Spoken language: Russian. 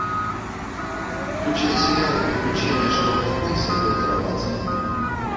включай сериал приключения шерлока холмса и доктора ватсона